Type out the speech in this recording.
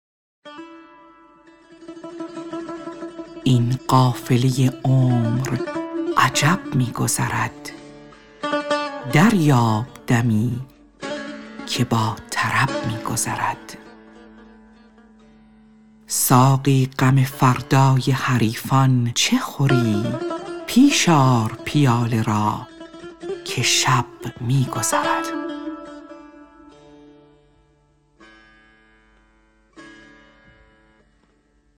این قافله عمر عجب می گذرد دریاب دمی که با طرب می گذرد ساقی غم فردای حریفان چه خوری پیش آر پیاله را که شب می گذرد